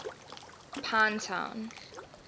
pinetown